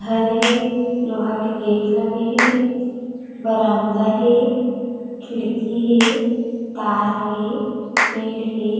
घर ह लोहा के गेट लगे हे बरामदा हे खिड़की हे तार हे पेड़ हे ।